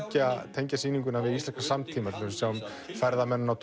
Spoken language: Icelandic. tengja sýninguna við íslenskan samtíma við sjáum ferðamenn og